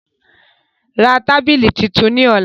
Ra tábìlì tuntun ní ọ̀la